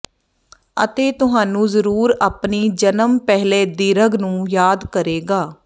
ਅਤੇ ਤੁਹਾਨੂੰ ਜ਼ਰੂਰ ਆਪਣੀ ਜਨਮ ਪਹਿਲੇ ਦੀਰਘ ਨੂੰ ਯਾਦ ਕਰੇਗਾ